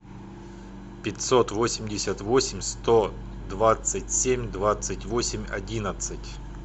пятьсот восемьдесят восемь сто двадцать семь двадцать восемь одиннадцать